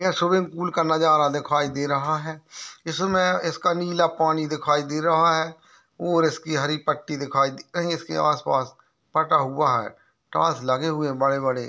Pool का नज़ारा दिखाई दे रहा है इसमे इसका नीला पानी दिखाई दे रहा है और इसके हरी पट्टी दिखाई इसके आस- पास पता हुआ है टॉस लगे हुए बड़े-बड़े।